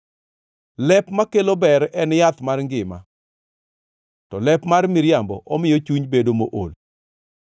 Lep makelo ber en yath mar ngima, to lep mar miriambo omiyo chuny bedo mool.